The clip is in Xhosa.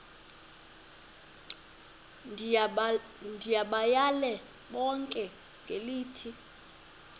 ndibayale bonke ngelithi